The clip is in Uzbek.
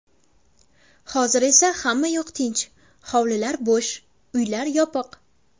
Hozir esa hammayoq tinch, hovlilar bo‘sh, uylar yopiq.